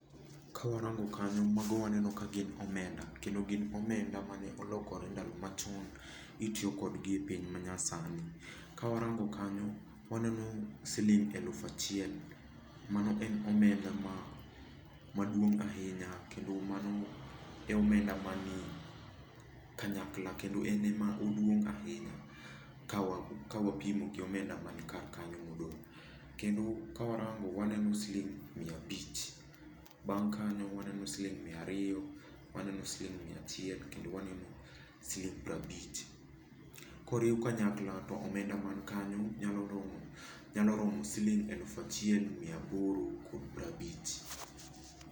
Ka warango kanyo, mago waneno ka gin omenda. Kendo gin omenda mane olokore ndalo machon, itiyo kodgi e piny manyasani. Ka warango kanyo, waneno siling' eluf achiel. Mano en omenda maduong' ahinya, kendo mano e omenda ma ni kanyakla. Kendo en e ma oduong' ahinya ka wapimo gi omenda man kar kanyo modong'. Kendo kawarango waneno siling' mia abich. Bang' kanyo waneno siling' mia ariyo, waneno siling' mia achiel, kendo waneno siling' piero abich. Koriw kanyakla to omenda man kanyo nyalo romo, nyalo romo siling' eluf achiel mia aboro kod piero abich.